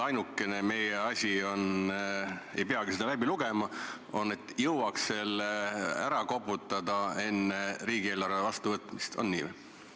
Ainukene asi on see – ei peagi seda eelnõu läbi lugema –, et jõuaks selle enne riigieelarve vastuvõtmist ära koputada.